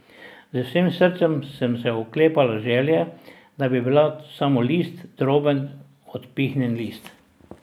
Z vsem srcem sem se oklepala želje, da bi bila samo list, droben odpihnjen list.